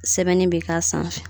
Sɛbɛnni be k'a sanfɛ